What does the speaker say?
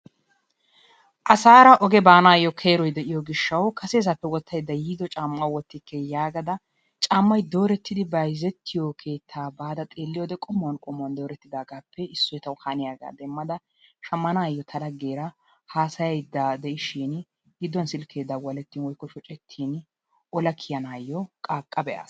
Asaara oge baanawu keeroy de'iyoo giishshawu kase wottayda yiido caammaa wottike yaagada caammay doorettidi bayzzetiyoo keettaa baada qommouwaan qommuwaan dorettidaagaa be'ada butisee tawu haniyaagaa demada shammanayoo ta laggeera hasayayda de'iishin gidduwaan silkee dawalettin woykko shooccetin ola kiyaanayoo qaaqqa be'aas.